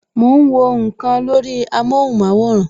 Mo ń wọ nkan lórí amóhùn maworan